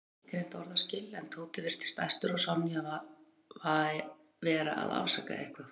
Hann gat ekki greint orðaskil en Tóti virtist æstur og Sonja vera að afsaka eitthvað.